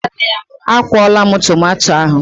A kwụọla m tomato ahụ.